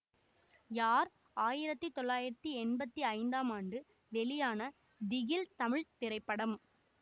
யார் ஆயிரத்தி தொள்ளாயிரத்தி எம்பத்தி ஐந்தாம் ஆண்டு வெளியான திகில் தமிழ் திரைப்படம்